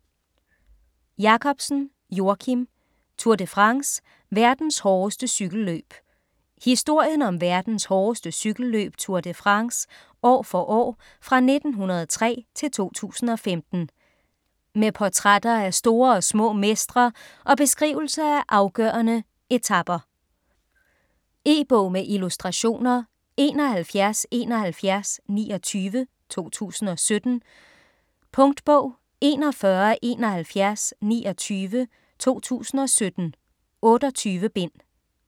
Jakobsen, Joakim: Tour de France: verdens hårdeste cykelløb Historien om verdens hårdeste cykelløb Tour de France år for år fra 1903-2015. Med portrætter af store og små mestre og beskrivelse af afgørende etaper. E-bog med illustrationer 717129 2017. Punktbog 417129 2017. 28 bind.